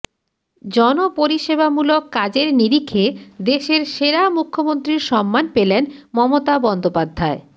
জনপরিষেবামূলক কাজের নিরিখে দেশের সেরা মুখ্যমন্ত্রীর সম্মান পেলেন মমতা বন্দ্যোপাধ্যায়